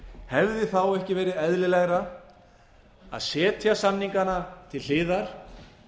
hefði þá ekki verið eðlilegra að setja samningana til hliðar